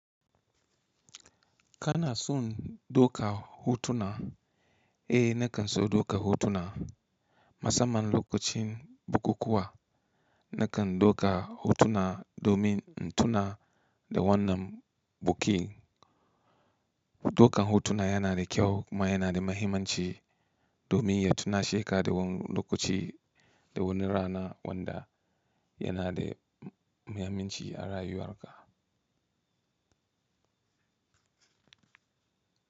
Kana son doka hutuna? Eh nakan so duka hutuna. Masamman lokacin bukukuwa nakan dauka hutuna domin in tuna da wannan buki. Dauka hotuna yana da kyau kuma yana da mahimmanci domin ya tunashe ka da wani lokaci, da wani rana wanda yana da mahimmanci a rayuwan ka.